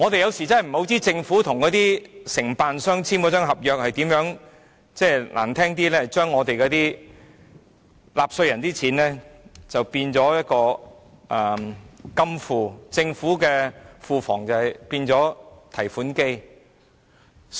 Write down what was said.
有時候真的不知道政府與承辦商簽訂了怎樣的合約，說得難聽一點，是把納稅人的金錢看作金庫，政府的庫房則變為提款機。